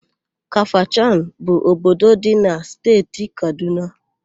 Kafachan bụ obodo dị na Steeti Kadụna.